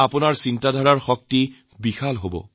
আপোনালোকৰ চিন্তাৰ ব্যাপ্তি বিশাল হৈ পৰিব